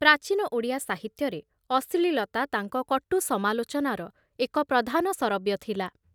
ପ୍ରାଚୀନ ଓଡ଼ିଆ ସାହିତ୍ୟରେ ଅଶ୍ଳୀଳତା ତାଙ୍କ କଟୁ ସମାଲୋଚନାର ଏକ ପ୍ରଧାନ ଶରବ୍ୟ ଥିଲା